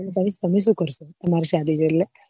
પહી તમે શું કરસો તમારી શાદી રે એટલે